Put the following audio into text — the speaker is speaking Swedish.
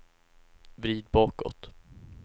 vrid bakåt